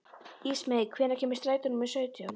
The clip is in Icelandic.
Ísmey, hvenær kemur strætó númer sautján?